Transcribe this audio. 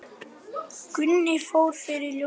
Gunni fór fyrir ljósið.